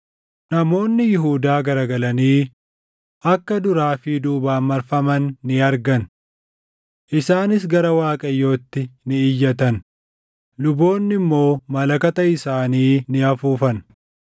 Namoonni Yihuudaa garagalanii akka duraa fi duubaan marfaman ni argan. Isaanis gara Waaqayyootti ni iyyatan; luboonni immoo malakata isaanii ni afuufan;